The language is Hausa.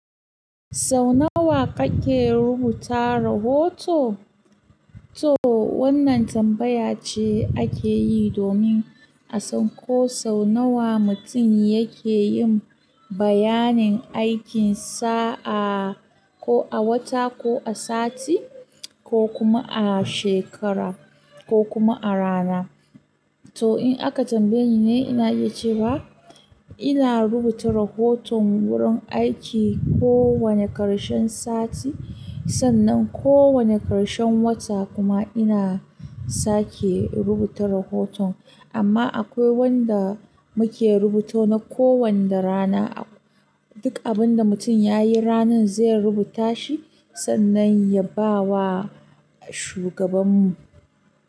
Sau nawa kake rubuta rahoto? To wannan tambaya ce ake yi domin a san ko sau nawa mutum yake yin bayanin aikin sa, a ko a wata, ko a sati, ko kuma a shekara, ko kuma a rana. To in aka tambaye ni ne, ina iya cewa ina rubuta rahoton wurin aiki kowane ƙarshen sati, sannan kowane ƙarshen wata kuma ina sake rubuta rahoton. Amma akwai wanda muke rubuto na kowani rana. Duk abin da mutum yayi ranan zai rubuta shi, sannan ya ba wa shugaban mu.